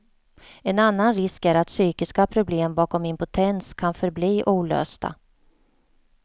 En annan risk är att psykiska problem bakom impotens kan förbli olösta.